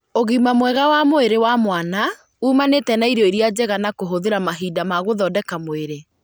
Ũgima mwega wa mwĩrĩ wa mwana uumanĩte na irio iria njega na kũhũthĩra mahinda ma gũthondeka mwĩrĩ.